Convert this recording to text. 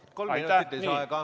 Palun, kolm minutit lisaaega!